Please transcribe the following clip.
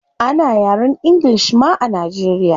Ana yaren ingilish ma a nigeria